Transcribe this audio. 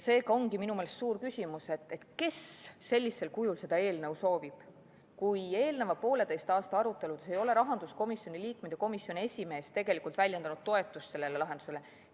Seega ongi minu meelest suur küsimus see, kes sellisel kujul seda eelnõu soovib, kui eelneva pooleteise aasta aruteludes ei ole rahanduskomisjoni liikmed ja komisjoni esimees tegelikult väljendanud toetust sellele lahendusele.